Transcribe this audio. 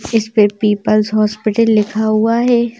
इस पे people's hospital लिखा हुआ है।